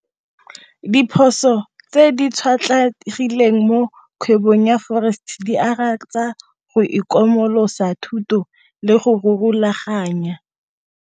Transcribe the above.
Diphoso tse di tshwatlhegileng mo kgwebong ya forex di akaretsa go itlhokomolosa thuto le go rulaganya.